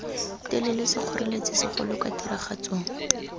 telele sekgoreletsi segolo kwa tiragatsong